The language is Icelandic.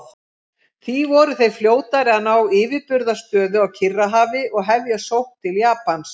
Því voru þeir fljótir að ná yfirburðastöðu á Kyrrahafi og hefja sókn til Japans.